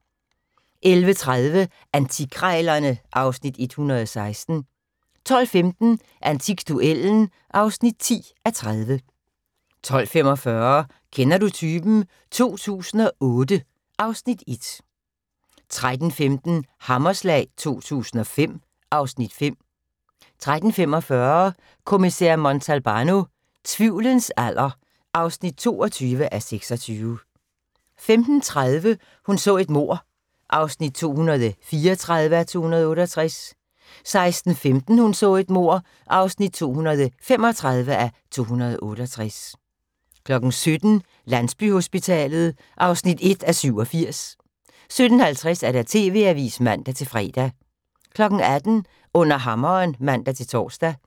11:30: Antikkrejlerne (Afs. 116) 12:15: Antikduellen (10:30) 12:45: Kender du typen 2008 (Afs. 1) 13:15: Hammerslag 2005 (Afs. 5) 13:45: Kommissær Montalbano: Tvivlens alder (22:26) 15:30: Hun så et mord (234:268) 16:15: Hun så et mord (235:268) 17:00: Landsbyhospitalet (1:87) 17:50: TV-avisen (man-fre) 18:00: Under hammeren (man-tor)